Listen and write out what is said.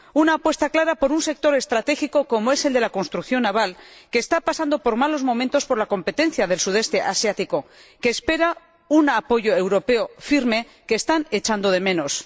Debemos hacer una apuesta clara por un sector estratégico como es el de la construcción naval, que está pasando por malos momentos por la competencia del Sudeste Asiático y que espera un apoyo europeo firme que están echando de menos.